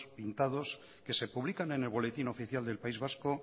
pintados que se publican en el boletín oficial del país vasco